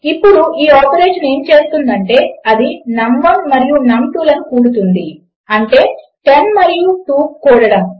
ఇప్పుడు ఈ ఆపరేషన్ ఏమి చేస్తుందంటే అది నమ్1 మరియు నమ్2 కూడుతుంది అంటే 10 మరియు 2 కూడడము